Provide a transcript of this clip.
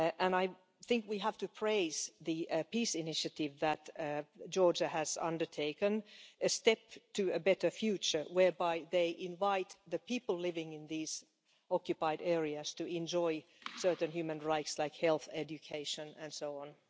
I think we have to praise the peace initiative that Georgia has undertaken, which is a step to a better future whereby they invite the people living in these occupied areas to enjoy certain human rights like health, education and so on.